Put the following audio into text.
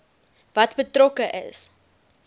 wat betrokke is